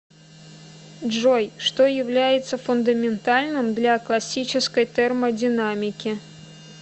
джой что является фундаментальным для классической термодинамики